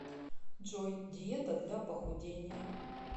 джой диета для похудения